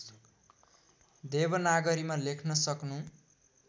देवनागरीमा लेख्न सक्नु